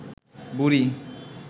বুড়ি